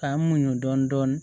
K'an muɲun dɔɔnin